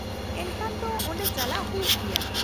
-ᱮᱱᱠᱷᱟᱱ ᱛᱚ ᱚᱸᱰᱮ ᱪᱟᱞᱟᱜ ᱦᱩᱭᱩᱜ ᱜᱮᱭᱟ ᱾